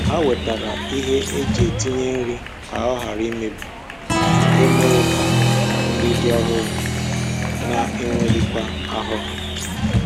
Ha wetara ihe eji etinye nri ka ọ ghara imebi nke mere ka nri dị ọhụrụ na enweghịkwa ahụhụ